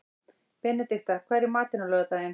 Benedikta, hvað er í matinn á laugardaginn?